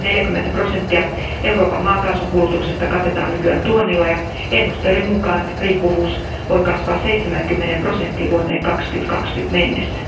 Yli 40 prosenttia Euroopan maakaasun kulutuksesta katetaan nykyään tuonnilla, ja ennusteiden mukaan riippuvuus voi kasvaa 70 prosenttiin vuoteen 2020 mennessä.